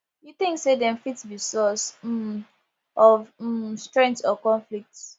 you think say dem fit be source um of um strength or conflict